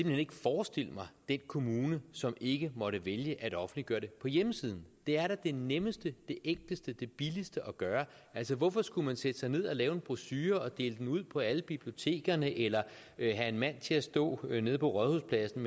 hen ikke forestille mig den kommune som ikke måtte vælge at offentliggøre det på hjemmesiden det er da det nemmeste det enkleste og det billigste at gøre hvorfor skulle man sætte sig ned og lave en brochure og dele den ud på alle bibliotekerne eller have en mand til at stå nede på rådhuspladsen